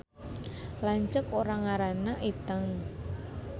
Lanceuk urang ngaranna Iteung